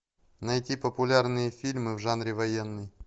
найти популярные фильмы в жанре военный